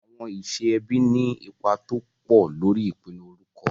Àwọn iṣẹ́ ẹbí ní ipa tó pọ̀ lórí ìpinnu orúkọ.